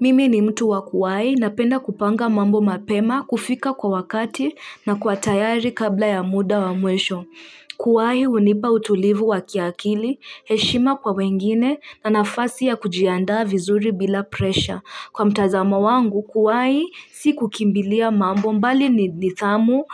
Mimi ni mtu wa kuwahi na penda kupanga mambo mapema kufika kwa wakati na kuwa tayari kabla ya muda wa mwisho kuwahi hunipa utulivu wa kiakili, heshima kwa wengine na nafasi ya kujiandaa vizuri bila presha kwa mtazamo wangu, kuwahi si kukimbilia mambo bali ni nidhamu